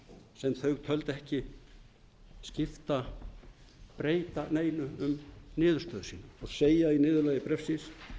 sem þau töldu ekki breyta neinu um niðurstöðu sína og segja í niðurlagi bréfsins